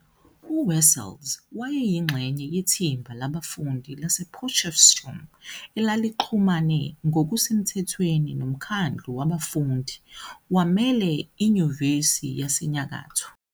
UWessels wayeyingxenye yethimba labafundi basePotchefstroom, elalixhumane ngokusemthethweni noMkhandlu wabafundi, Wamele iNyuvesi yasenyakatho.